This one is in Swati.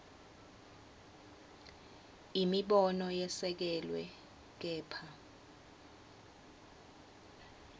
imibono yesekelwe kepha